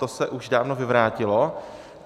To se už dávno vyvrátilo.